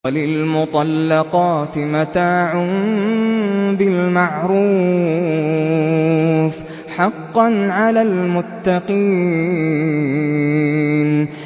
وَلِلْمُطَلَّقَاتِ مَتَاعٌ بِالْمَعْرُوفِ ۖ حَقًّا عَلَى الْمُتَّقِينَ